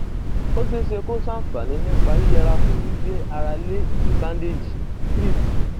ó ṣeé ṣe kó ṣàǹfààní nípa yíyẹra fún gbígbé ara lé ìlò bándéèjì crepe